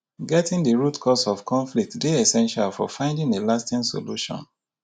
getting di root cause of conflict dey essential for finding a lasting solution.